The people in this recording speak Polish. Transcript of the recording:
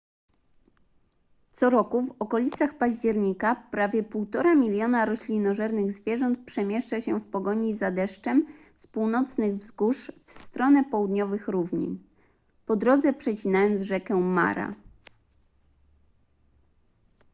co roku w okolicach października prawie 1,5 miliona roślinożernych zwierząt przemieszcza się w pogoni za deszczem z północnych wzgórz w stronę południowych równin po drodze przecinając rzekę mara